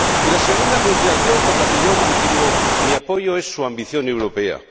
Y la segunda consideración, por la que mantengo mi apoyo, es su ambición europea.